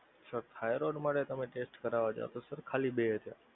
sir thyroid માટે તમે test કરવા જાવ તો ખાલી બે હજાર